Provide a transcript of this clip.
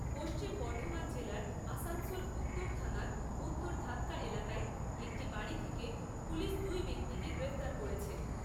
পশ্চিম বর্ধমান জেলার আসানসোল উত্তর থানার উত্তর ধাদকা এলাকায় একটি বাড়ি থেকে পুলিশ দুই ব্যক্তিকে গ্রেপ্তার করেছে।